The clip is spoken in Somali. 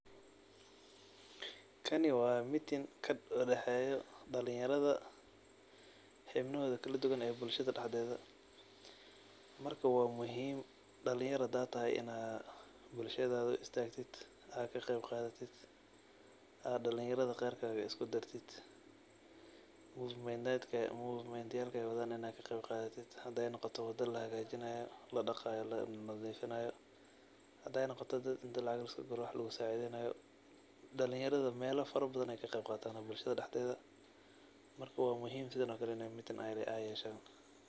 Kaani waa meeting kadexeyo dalanyaradha xibnohodhi kaladuwan ee bulshadha daxdedha. Marka waa muhim dalanyaro hadaa tahay ina bulshadha uu istaqtit aa kaqebqadhatit aa dalanyaradha qeerka isku dartit movement yalkay wadhaan inaad kaqebqadhatit; haday noqoto wada lahagajinayo, ladaqayo, lanadhifinayo, haday noqoto intaa lacaq laaiskuguro wax laa iskusacidhaynayo. Dalanyaradho meela farabadhan ayy kaqebqatan bulashadha daxedha marka waa muhim sidhan oo kaley inay meeting ayy yeshan.